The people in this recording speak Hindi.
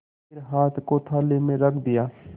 फिर हाथ को थाली में रख दिया